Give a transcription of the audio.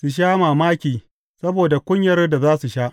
Su sha mamaki saboda kunyar da za su sha.